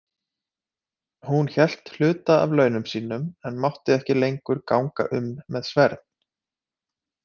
Hún hélt hluta af launum sínum en mátti ekki lengur ganga um með sverð.